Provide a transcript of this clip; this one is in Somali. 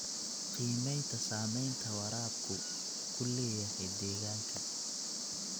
Qiimaynta saamaynta waraabku ku leeyahay deegaanka.